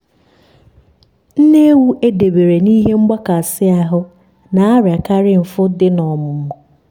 nne ewu edebere n'ihe mgbakasị ahụ na-ariakarị mfu dị n'ọmụmụ